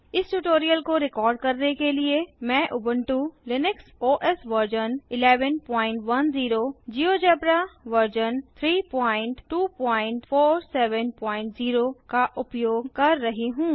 इस ट्यूटोरियल को रिकार्ड करने के लिए मैं उबंटू लिनक्स ओएस वर्जन 1110जियोजेब्रा वर्जन 32470 का उपयोग कर रही हूँ